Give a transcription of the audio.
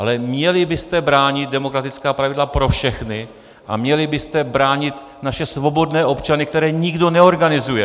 Ale měli byste bránit demokratická pravidla pro všechny a měli byste bránit naše svobodné občany, které nikdo neorganizuje.